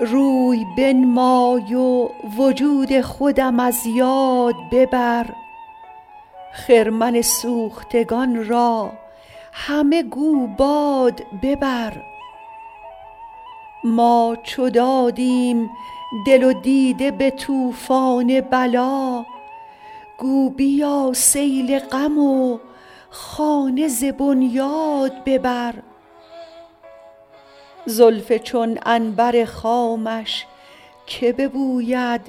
روی بنمای و وجود خودم از یاد ببر خرمن سوختگان را همه گو باد ببر ما چو دادیم دل و دیده به طوفان بلا گو بیا سیل غم و خانه ز بنیاد ببر زلف چون عنبر خامش که ببوید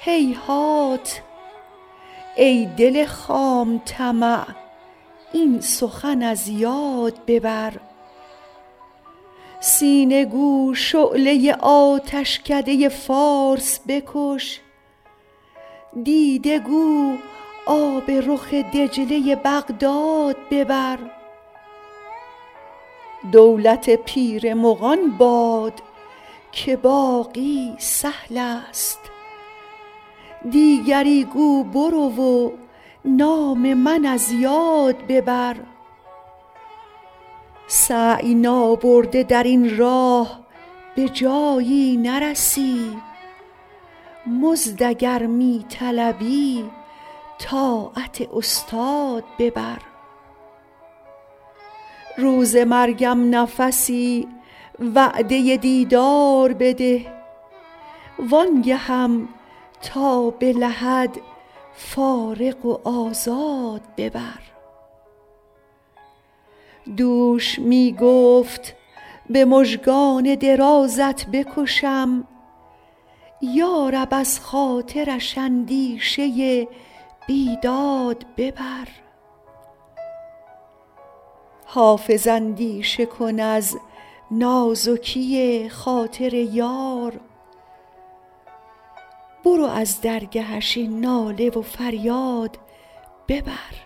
هیهات ای دل خام طمع این سخن از یاد ببر سینه گو شعله آتشکده فارس بکش دیده گو آب رخ دجله بغداد ببر دولت پیر مغان باد که باقی سهل است دیگری گو برو و نام من از یاد ببر سعی نابرده در این راه به جایی نرسی مزد اگر می طلبی طاعت استاد ببر روز مرگم نفسی وعده دیدار بده وآن گهم تا به لحد فارغ و آزاد ببر دوش می گفت به مژگان درازت بکشم یا رب از خاطرش اندیشه بیداد ببر حافظ اندیشه کن از نازکی خاطر یار برو از درگهش این ناله و فریاد ببر